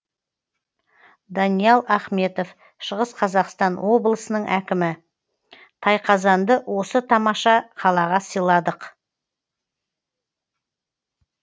даниал ахметов шығыс қазақстан облысының әкімі тайқазанды осы тамаша қалаға сыйладық